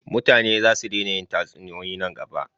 mutane za su dena yin tatsuniyoyi nan gaba